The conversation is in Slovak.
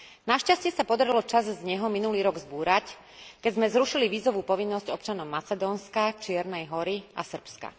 Našťastie sa podarilo časť z neho minulý rok zbúrať, keď sme zrušili vízovú povinnosť občanom Macedónska, Čiernej Hory a Srbska.